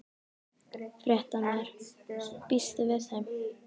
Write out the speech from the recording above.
Fréttamaður: Býstu við þeim?